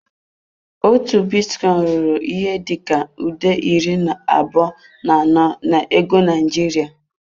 Otu bitcoin ruru ihe dị ka nde iri abụọ na anọ na ego Naịjirịa.